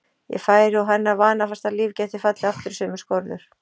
Ég færi og hennar vanafasta líf gæti fallið aftur í sömu skorður.